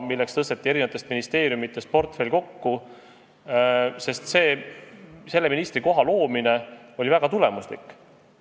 Selleks tõsteti eri ministeeriumidest portfell kokku ja selle ministrikoha loomine oli väga tulemuslik.